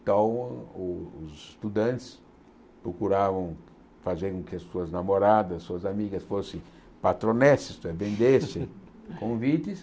Então, os os estudantes procuravam fazer com que as suas namoradas, suas amigas fossem patronesses, vendessem convites.